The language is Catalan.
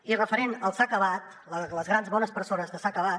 i referent a s’ha acabat les grans bones persones de s’ha acabat